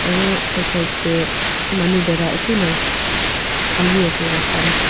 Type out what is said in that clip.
aru side side teh manu bhera eku nai Khali ase rasta tu.